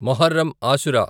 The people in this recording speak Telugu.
మొహర్రం ఆశుర